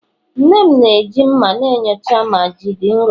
nne m na-eji mma na-enyocha ma ji dị nro